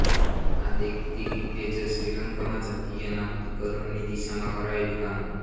આ દેખતી રીતે જ શ્રીલંકામાં જાતિય નાબૂદીકરણની દિશામાં કરાયેલું કામ હતું